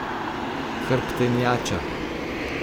Hrbtenjača.